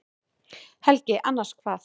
Helgi: Annars hvað?